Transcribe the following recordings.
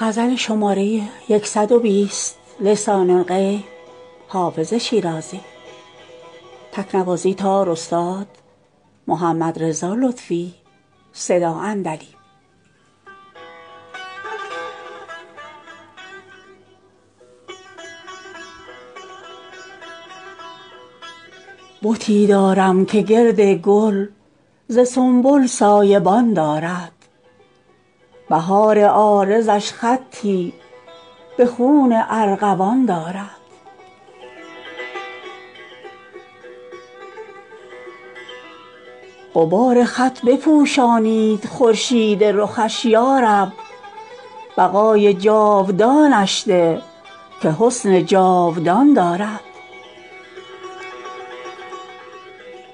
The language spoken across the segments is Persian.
بتی دارم که گرد گل ز سنبل سایه بان دارد بهار عارضش خطی به خون ارغوان دارد غبار خط بپوشانید خورشید رخش یا رب بقای جاودانش ده که حسن جاودان دارد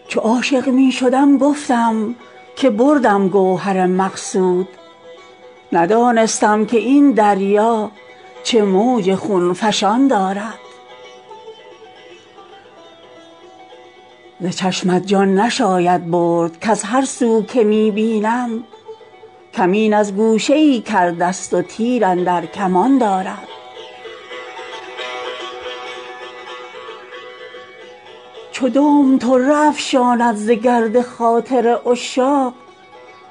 چو عاشق می شدم گفتم که بردم گوهر مقصود ندانستم که این دریا چه موج خون فشان دارد ز چشمت جان نشاید برد کز هر سو که می بینم کمین از گوشه ای کرده ست و تیر اندر کمان دارد چو دام طره افشاند ز گرد خاطر عشاق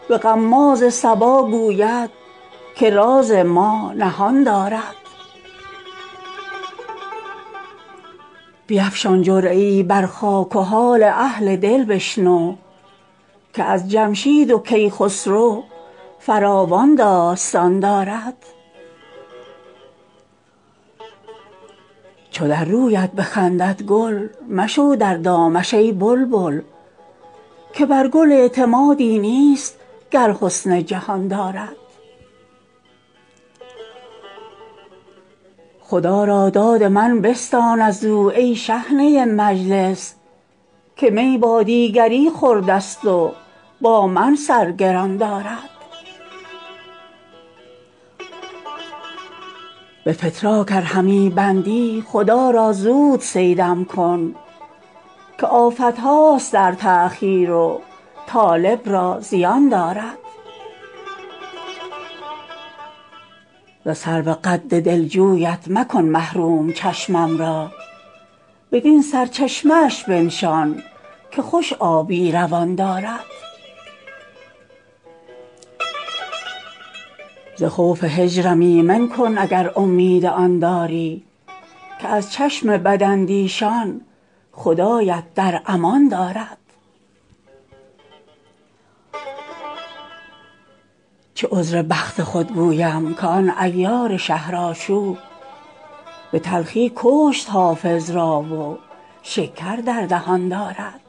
به غماز صبا گوید که راز ما نهان دارد بیفشان جرعه ای بر خاک و حال اهل دل بشنو که از جمشید و کیخسرو فراوان داستان دارد چو در رویت بخندد گل مشو در دامش ای بلبل که بر گل اعتمادی نیست گر حسن جهان دارد خدا را داد من بستان از او ای شحنه مجلس که می با دیگری خورده ست و با من سر گران دارد به فتراک ار همی بندی خدا را زود صیدم کن که آفت هاست در تأخیر و طالب را زیان دارد ز سرو قد دلجویت مکن محروم چشمم را بدین سرچشمه اش بنشان که خوش آبی روان دارد ز خوف هجرم ایمن کن اگر امید آن داری که از چشم بداندیشان خدایت در امان دارد چه عذر بخت خود گویم که آن عیار شهرآشوب به تلخی کشت حافظ را و شکر در دهان دارد